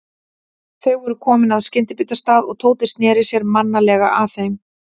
Þau voru komin að skyndibitastað og Tóti sneri sér mannalega að þeim.